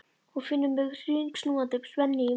Hún finnur fyrir hringsnúandi spennu í maganum.